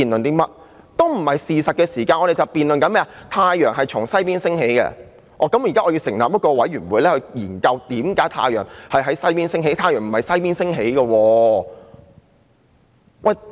難道我們要辯論太陽是否從西邊升起，然後成立一個調查委員會研究為何太陽從西邊升起？